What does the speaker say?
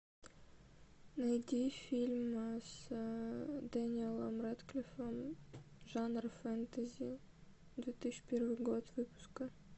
найди фильм с дэниелом рэдклиффом жанр фэнтези две тысячи первый год выпуска